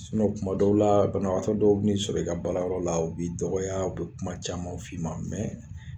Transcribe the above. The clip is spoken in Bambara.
kuma dɔw la banabagatɔ dɔw bi n'i sɔrɔ i ka baarayɔrɔ la u b'i dɔgɔya u bɛ kuma caman f'i ma